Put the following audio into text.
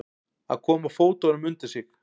Að koma fótunum undir sig